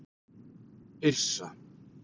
Yrsa